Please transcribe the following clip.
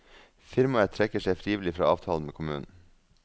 Firmaet trekker seg frivillig fra avtalen med kommunen.